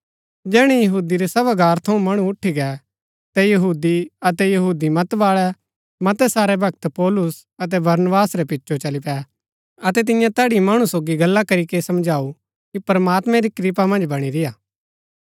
जैहणै यहूदी रै सभागार थऊँ मणु उठी गै ता यहूदी अतै यहूदी मत बाळै मतै सारै भक्त पौलुस अतै बरनबास रै पिचो चली पै अतै तिन्ये तैड़ी मणु सोगी गल्ला करीके समझाऊ कि प्रमात्मैं री कृपा मन्ज बणी रेय्आ